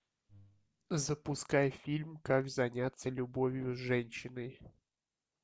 запускай фильм как заняться любовью с женщиной